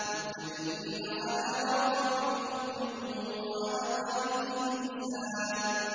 مُتَّكِئِينَ عَلَىٰ رَفْرَفٍ خُضْرٍ وَعَبْقَرِيٍّ حِسَانٍ